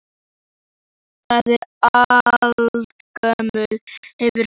Það er aldagömul hefð fyrir verslun okkar á þessu landi!